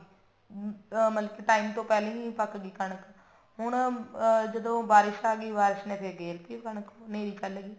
ਹਮ ਮਤਲਬ time ਤੋਂ ਪਹਿਲਾਂ ਹੀ ਪੱਕ ਗਈ ਕਣਕ ਹੁਣ ਜਦੋਂ ਬਾਰਿਸ਼ ਆਗੀ ਬਾਰਿਸ਼ ਨੇ ਗੇਰ ਤੀ ਉਹ ਕਣਕ ਹਨੇਰੀ ਚੱਲ ਗਈ